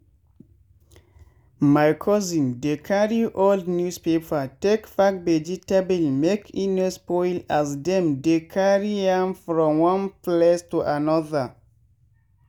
my cousin dey carry old newspaper take pack vegetable make e no spoil as dem dey carry am from one place to another.